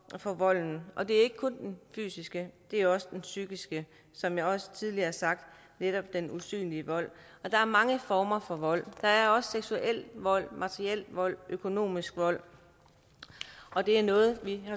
for volden og det ikke kun den fysiske det er også den psykiske som jeg også tidligere har sagt netop den usynlige vold og der er mange former for vold der er også seksuel vold materiel vold økonomisk vold og det er noget vi